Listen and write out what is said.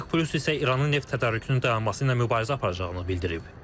OPEC Plus isə İranın neft tədarükünün dayanması ilə mübarizə aparacağını bildirib.